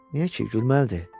Niyə ki, gülməlidir.